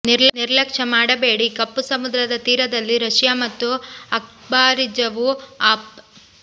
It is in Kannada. ನಿರ್ಲಕ್ಷ್ಯ ಮಾಡಬೇಡಿ ಕಪ್ಪು ಸಮುದ್ರದ ತೀರದಲ್ಲಿ ರಶಿಯಾ ಮತ್ತು ಅಬ್ಖಾಝಿಯವು ಆಫ್